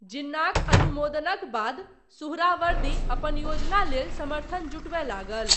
जिन्नाक अनुमोदनक बाद, सुहरावर्दी, अपन योजना लेल समर्थन जुटबय लागल।